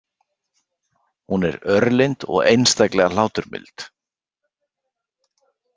Hún er örlynd og einstaklega hláturmild.